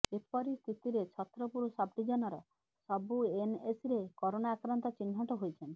ଏପରି ସ୍ଥିତିରେ ଛତ୍ରପୁର ସବଡିଭିଜନର ସବୁ ଏନଏସିରେ କରୋନା ଆକ୍ରାନ୍ତ ଚିହ୍ନଟ ହୋଇଛନ୍ତି